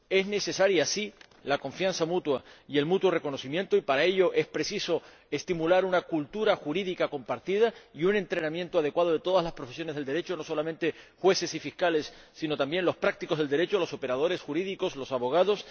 es necesaria, sí, la confianza mutua y el mutuo reconocimiento y para ello es preciso estimular una cultura jurídica compartida y un entrenamiento adecuado de todas las profesiones del Derecho, no solamente jueces y fiscales, sino también los prácticos del Derecho, los operadores jurídicos, los abogados...